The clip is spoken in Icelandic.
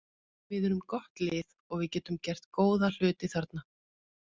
Við erum gott lið og við getum gert góða hluti þarna.